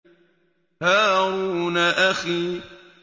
هَارُونَ أَخِي